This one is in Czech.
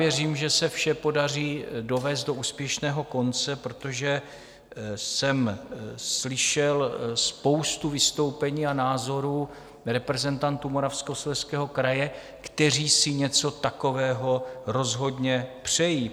Věřím, že se vše podaří dovést do úspěšného konce, protože jsem slyšel spoustu vystoupení a názorů reprezentantů Moravskoslezského kraje, kteří si něco takového rozhodně přejí.